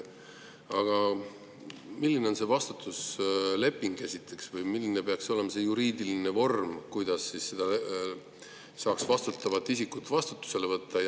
Aga milline on see vastutusleping või milline peaks olema see juriidiline vorm, kuidas saaks seda vastutavat isikut vastutusele võtta?